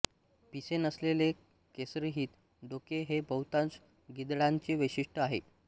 पिसे नसलेले केसरहित डोके हे बहुतांश गिधाडांचे वैशिष्ट्य आहे